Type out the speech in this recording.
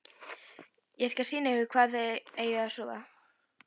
Ég skal sýna ykkur hvar þið eigið að sofa